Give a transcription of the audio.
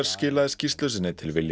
skilaði skýrslu sinni til